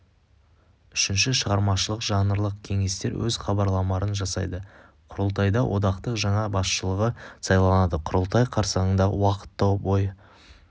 үшінші шығармашылық-жанрлық кеңестер өз хабарламаларын жасайды құрылтайда одақтың жаңа басшылығы сайланады құрылтай қарсаңында уақыт тауып ой